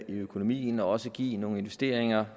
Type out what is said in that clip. i økonomien og også give nogle investeringer